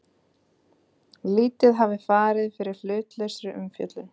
Lítið hafi farið fyrir hlutlausri umfjöllun